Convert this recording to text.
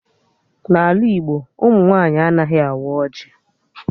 N'ala Igbo, ụmụ nwaanyị anaghị awa ọjị